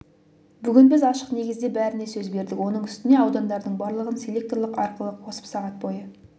бүгін біз ашық негізде бәріне сөз бердік оның үстіне аудандардың барлығын селекторлық арқылы қосып сағат бойы